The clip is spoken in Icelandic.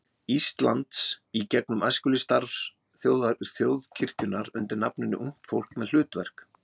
Íslands í gegnum æskulýðsstarf þjóðkirkjunnar undir nafninu Ungt fólk með hlutverk.